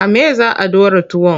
A me za a ɗora tuwon?